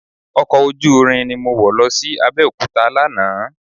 Ọkọ̀ ojúúrin ni mọ wọ̀ lọ sí Abẹ́òkúta lánàá